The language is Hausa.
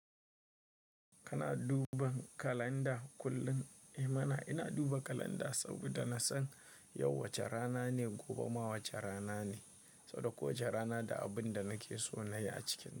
Kana duban kalanda kullum? I mana, ina duba kalanda saboda na san yau wace rana ne, gobe ma wace rana ne, saboda kowace rana da abin da nake so na yi a cikinta.